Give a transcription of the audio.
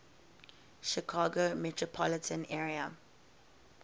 chicago metropolitan area